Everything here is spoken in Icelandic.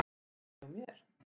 Ekki hjá mér.